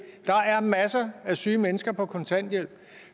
der er masser af syge mennesker på kontanthjælp